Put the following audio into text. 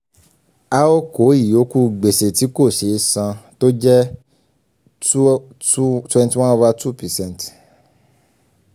a ó kó ìyókù gbèsè tí kò ṣeé san tó jẹ́ twenty one over two percent